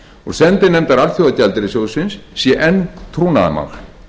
og sendinefndar alþjóðagjaldeyrissjóðsins sé enn trúnaðarmál